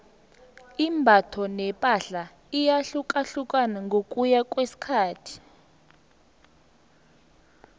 imbatho nepahla iyahlukahlukana ngokuya ngokwesikhathi